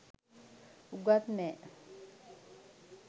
උගත් නෑ